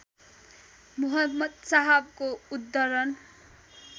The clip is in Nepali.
मुहम्मद साहबको उद्धरण